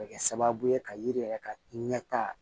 Bɛ kɛ sababu ye ka yiri yɛrɛ ka ɲɛta